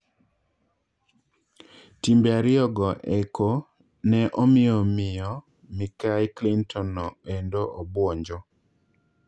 Timbe ariyo go eko ne omiyo miyo Mikai Clinton no endo obuonjo.